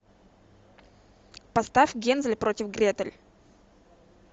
поставь гензель против гретель